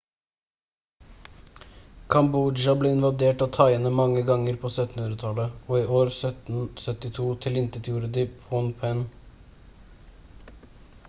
kambodsja ble invadert av thaiene mange ganger på 1700-tallet og i år 1772 tilintetgjorde de phnom phen